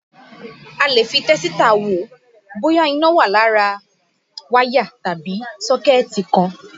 A lè fi tẹ́sítà wò bóyá iná wà ní ara wáyà tàbí sọ́kẹ̀tì kan.